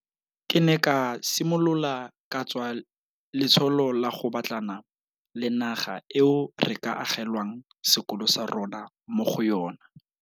Ke ne ka simolola ka tswa letsholo la go batlana le naga eo re ka agelwang sekolo sa rona mo go yona.